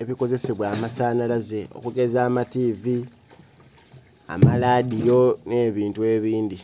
ebikozesebwa amasanalaze okugeza amativi, amaladiyo ne bintu ebindi